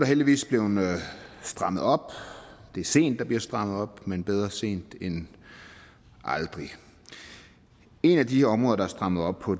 heldigvis blevet strammet op det er sent der er blevet strammet op men bedre sent end aldrig et af de områder der er strammet op på